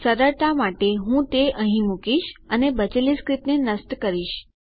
સરળતા માટે હું તે અહીં મુકીશ અને બચેલી સ્ક્રીપ્ટને નષ્ટ કરીશ